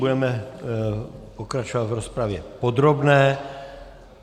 Budeme pokračovat v rozpravě podrobné.